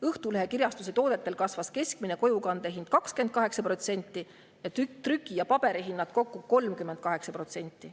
Õhtulehe Kirjastuse toodetel kasvas keskmine kojukande hind 28%, trüki‑ ja paberihinnad kokku 38%.